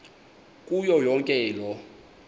kuyo yonke loo